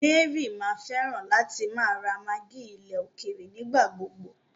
Mary mà fẹ̀ látì má ra maggi ilẹ̀ òkèèrè nígbàgbogbò.